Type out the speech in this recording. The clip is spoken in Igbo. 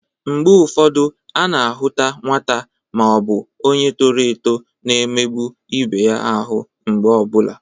Mgbe ụfọdụ a na-ahụta nwata ma ọ bụ onye toro eto na-emekpa ibe ya ahụ mgbe ọ bụla.